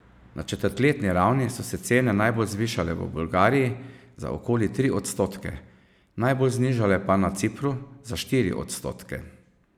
Na četrtletni ravni so se cene najbolj zvišale v Bolgariji, za okoli tri odstotke, najbolj znižale pa na Cipru, za štiri odstotke.